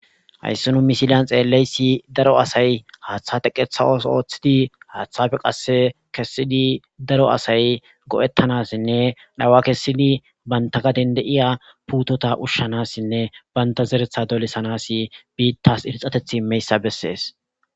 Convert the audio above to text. Hayssi nu misilan xeellizayssi, daro asay haatha teqetha ootho oothidi,haathappe qasse kessidi,daro asay go'etanasinne zawa kessidi banta gade de'iya puutota ushshanasine banta zeretha dolisanas biitas irxatethi immizaysa besses.